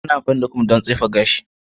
Ana amfani da comb don tsefe gashi.